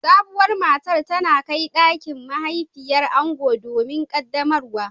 Sabuwar matar tana kai dakin mahaifiyar ango domin qaddamarwa